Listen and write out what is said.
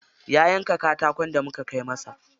Ya yanka katakon da muka kai masa.